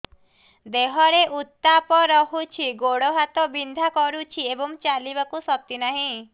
ଦେହରେ ଉତାପ ରହୁଛି ଗୋଡ଼ ହାତ ବିନ୍ଧା କରୁଛି ଏବଂ ଚାଲିବାକୁ ଶକ୍ତି ନାହିଁ